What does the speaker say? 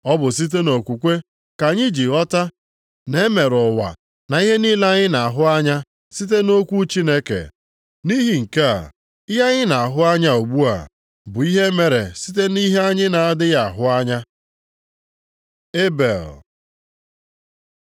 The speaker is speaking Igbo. Ọ bụ site nʼokwukwe ka anyị ji ghọta na e mere ụwa na ihe niile anyị na-ahụ anya site nʼokwu Chineke. Nʼihi nke a, ihe anyị na-ahụ anya ugbu a bụ ihe e mere site nʼihe anyị na-adịghị ahụ anya. Ebel